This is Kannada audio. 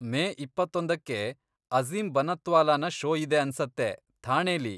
ಮೇ ಇಪ್ಪತ್ತೊಂದಕ್ಕೆ ಅಝೀಮ್ ಬನಾತ್ವಾಲಾನ ಷೋ ಇದೆ ಅನ್ಸತ್ತೆ, ಥಾಣೆಲಿ.